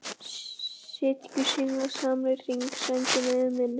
Sitji guðs englar saman í hring, sænginni yfir minni.